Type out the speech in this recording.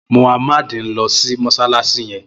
Muhammad n lò sí mọṣalaṣi yèn